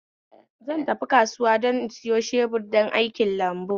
Zan tafi kasuwa don in sayo shebur don aikin lambu